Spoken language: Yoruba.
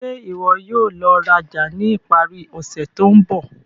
Ṣe iwọ yóò lọ raja ni ipari ose to nbọ?